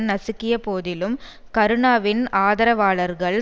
நசுக்கிய போதிலும் கருணாவின் ஆதரவாளர்கள்